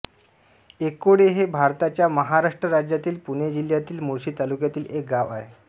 एकोळे हे भारताच्या महाराष्ट्र राज्यातील पुणे जिल्ह्यातील मुळशी तालुक्यातील एक गाव आहे